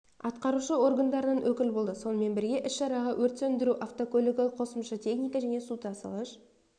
атқарушы органдарынан өкіл болды сонымен бірге іс-шараға өрт сөндіру автокөлігі қосымша техника және су тасығыш